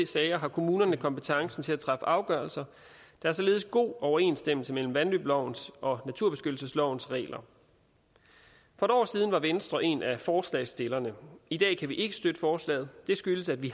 sager har kommunen kompetencen til at træffe afgørelser der er således god overensstemmelse mellem vandløbslovens og naturbeskyttelseslovens regler for et år siden var venstre en af forslagsstillerne i dag kan vi ikke støtte forslaget det skyldes at vi